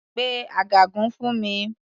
Pe ọ̀gágun fún mi.